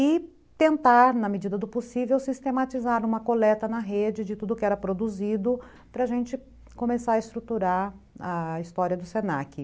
e tentar, na medida do possível, sistematizar uma coleta na rede de tudo que era produzido para a gente começar a estruturar a história do se na que.